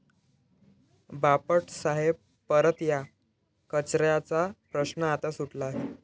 बापट साहेब परत या, कचऱ्याचा प्रश्न आता सुटला आहे'